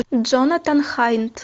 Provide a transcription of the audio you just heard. джонатан хайнт